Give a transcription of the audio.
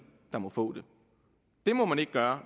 der må få det det må man ikke gøre